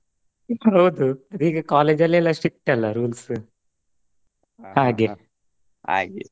ಹೌದು ಈಗ college ಲೆಲ್ಲಾ strict ಅಲ್ಲಾ rules ಹಾಗೆ Speaker 1: ಹಾಗೆ ಮತ್ತೆ ವಿಶೇಷ